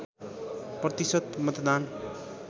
प्रतिशत मतदात